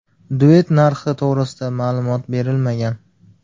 Duet narxi to‘g‘risida ma’lumot berilmagan.